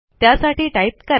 त्यासाठी टाईप करा